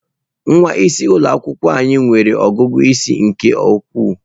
Nwa isi ụlọ akwụkwọ anyị nwere ọgụgụ isi nke ukwuu.